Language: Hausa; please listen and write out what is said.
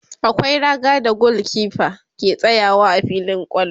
akwai raga da gulkefa ke tsayawa a filin kwallo